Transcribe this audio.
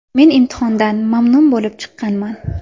Men imtihondan mamnun bo‘lib chiqqanman.